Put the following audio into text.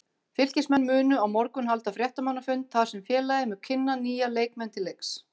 Fylkismenn munu á morgun halda fréttamannafund þar sem félagið mun kynna nýja leikmenn til leiks.